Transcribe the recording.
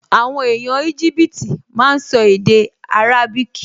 Àwọn èèyàn Íjíbítì máa n sọ èdè árábíkì